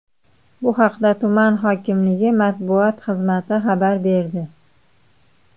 Bu haqda tuman hokimligi matbuot xizmati xabar berdi .